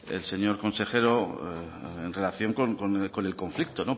el señor consejero en relación con el conflicto